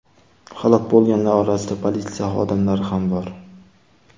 Halok bo‘lganlar orasida politsiya xodimlari ham bor.